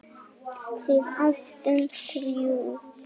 Við áttum þrjú.